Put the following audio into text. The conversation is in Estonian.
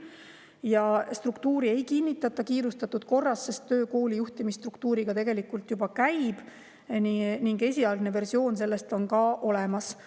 Ja struktuuri ei kinnitata kiirustatud korras, töö kooli juhtimisstruktuuriga tegelikult juba käib ning selle esialgne versioon on olemas.